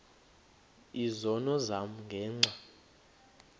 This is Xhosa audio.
izono zam ngenxa